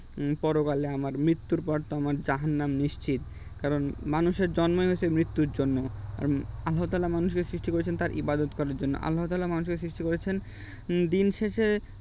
পরকালে আমার মৃত্যুর পর আমার জাহান্নাম নিশ্চিত কারণ মানুষের জন্মই হয়েছে মৃত্যুর জন্য আল্লাহতালা মানুষের সৃষ্টি করেছেন তার ইবাদত করার জন্য আল্লাহতালা মানুষকে সৃষ্টি করেছেন দিনশেষে